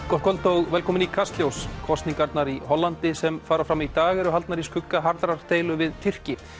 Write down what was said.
gott kvöld og velkomin í Kastljós kosningarnar í Hollandi sem fara fram í dag eru haldnar í skugga harðrar deilu við Tyrki